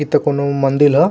इ त कोनो मंदील ह।